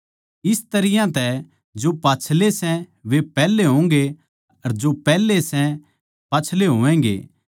इस तरियां तै जो पाच्छले सै वे पैहले होंगे जो पैहले सै पाच्छले होवैगें